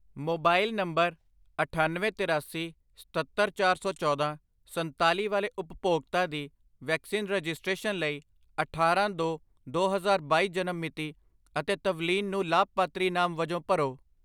Mobile number ਅਠੱਨਵੇਂ, ਤਿਰਾਸੀ, ਸਤੱਤਰ, ਚਾਰ ਸੌ ਚੌਦਾਂ, ਸੰਤਾਲੀ ਵਾਲੇ ਉਪਭੋਗਤਾ ਦੀ ਵੈਕਸੀਨ ਰਜਿਸਟ੍ਰੇਸ਼ਨ ਲਈ ਅਠਾਰਾਂ ਦੋ ਦੋ ਹਜ਼ਾਰ ਬਾਈ ਜਨਮ ਮਿਤੀ ਅਤੇ ਤਵਲੀਨ ਨੂੰ ਲਾਭਪਾਤਰੀ ਨਾਮ ਵਜੋਂ ਭਰੋ।